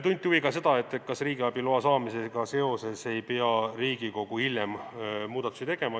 Tunti huvi ka selle vastu, kas riigiabi loa saamisega seoses ei pea Riigikogu hiljem muudatusi tegema.